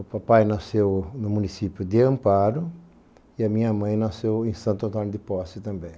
O papai nasceu no município de Amparo e a minha mãe nasceu em Santo Antônio de Posse também.